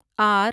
are